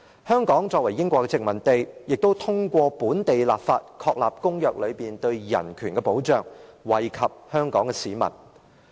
香港作為英國的殖民地，亦通過本地立法，確立公約內對人權的保障，惠及香港市民。